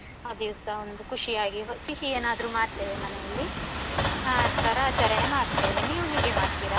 ಆದಿವ್ಸ ಒಂದು ಖುಷಿಯಾಗಿ ಸಿಹಿ ಏನಾದ್ರು ಮಾಡ್ತೇವೆ ಮನೆಯಲ್ಲಿ ಆತರ ಆಚರಣೆ ಮಾಡ್ತೇವೆ ನೀವು ಹೇಗೆ ಮಾಡ್ತೀರಾ?